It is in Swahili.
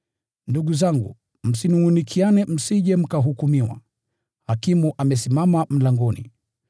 Ndugu zangu, msinungʼunikiane msije mkahukumiwa. Hakimu amesimama mlangoni!